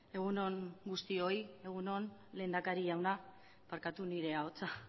egun on guztioi egun on lehendakari jauna barkatu nire ahotsa